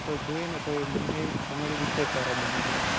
તો જોઈએ ને તો એ બંને comedy pitcure સારા બનાવે.